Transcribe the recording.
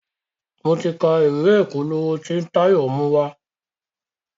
mọ tí ká ìwé ìpolówó t'in Tayo mu wá.